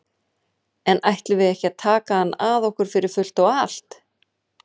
En við ætlum ekki að taka hann að okkur fyrir fullt og allt.